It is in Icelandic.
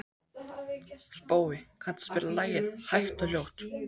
Spói, kanntu að spila lagið „Hægt og hljótt“?